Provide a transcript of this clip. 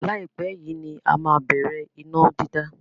Láìpẹ́ yìí ní a má á bẹ̀rẹ̀ iná dídá.